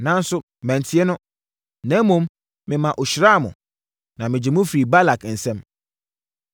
Nanso, mantie no, na mmom mema ɔhyiraa mo, na megyee mo firii Balak nsam.